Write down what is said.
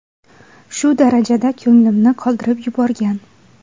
Shu darajada ko‘nglimni qoldirib yuborgan.